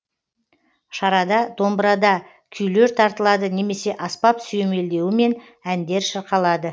шарада домбырада күйлер тартылады немесе аспап сүйемелдеуімен әндер шырқалады